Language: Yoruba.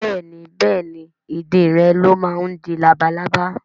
Bẹ́ẹ̀ni Bẹ́ẹ̀ni ìdin rẹ̀ ló máa ń di labalábá